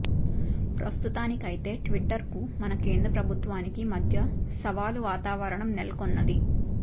ప్రస్తుతానికైతే ట్విట్టర్కు మన కేంద్ర ప్రభుత్వానికి మధ్య సవాలు వాతావరణం నెలకొన్నది